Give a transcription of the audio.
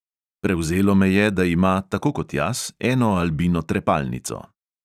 Prevzelo me je, da ima – tako kot jaz – eno albino trepalnico.